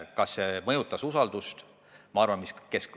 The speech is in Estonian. Kas see mõjutas usaldust?